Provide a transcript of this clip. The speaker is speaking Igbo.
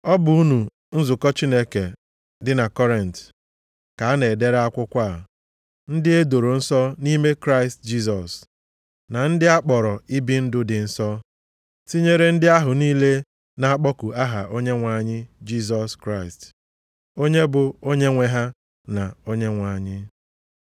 Ọ bụ unu nzukọ Chineke dị na Kọrint ka a na-edere akwụkwọ a, ndị e doro nsọ nʼime Kraịst Jisọs, na ndị a kpọrọ ibi ndụ dị nsọ, tinyere ndị ahụ niile na-akpọku aha Onyenwe anyị Jisọs Kraịst, onye bụ Onyenwe ha na Onyenwe anyị: